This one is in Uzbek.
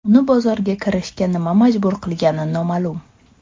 Uni bozorga kirishga nima majbur qilgani noma’lum.